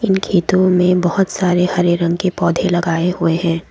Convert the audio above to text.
खेतों में बहोत सारे हरे रंग के पौधे लगाए हुए हैं।